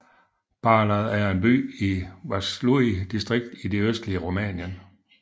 Bârlad er en by i Vaslui distrikt i det østlige Rumænien